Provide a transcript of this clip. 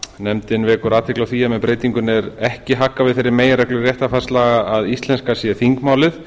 nefndin vekur athygli á því að með breytingunni er að ekki haggað við þeirri meginreglu réttarfarslaga að íslenska sé þingmálið